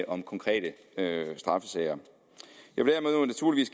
om konkrete straffesager